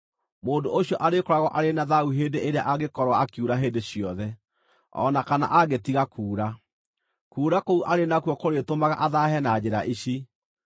Mũndũ ũcio arĩkoragwo arĩ na thaahu hĩndĩ ĩrĩa angĩkorwo akiura hĩndĩ ciothe, o na kana angĩtiga kuura. Kuura kũu arĩ nakuo kũrĩĩtũmaga athaahe na njĩra ici: